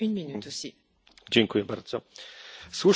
Słusznie potępiamy mowę nienawiści.